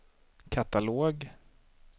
katalog